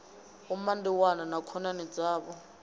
vho mandiwana na khonani dzavho